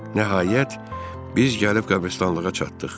Nəhayət, biz gəlib qəbristanlığa çatdıq.